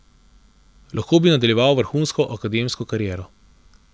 Lahko bi nadaljeval vrhunsko akademsko kariero.